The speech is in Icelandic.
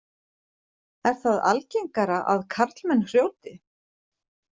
Er það algengara að karlmenn hrjóti?